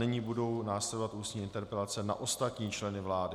Nyní budou následovat ústní interpelace na ostatní členy vlády.